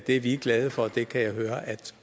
er vi glade for og det kan jeg høre at